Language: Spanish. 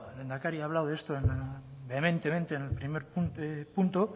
el lehendakari ha hablado de esto vehementemente en el primer punto